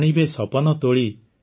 ଆଣିବେ ସପନ ତୋଳି